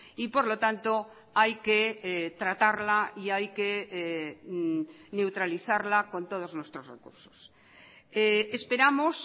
y por lo tanto hay que tratarla y hay que neutralizarla con todos nuestros recursos esperamos